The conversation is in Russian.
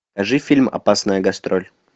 покажи фильм опасная гастроль